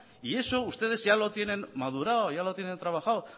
y eso ustedes ya lo tienen madurado ya lo tienen trabajado